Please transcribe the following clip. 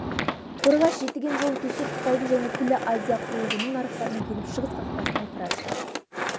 қорғас-жетіген жолын төсеп қытайдың және күллі азия құрлығының нарықтарына еніп шығыс қақпасын айқара аштық